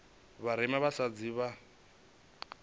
vha vharema vha vhasadzi vho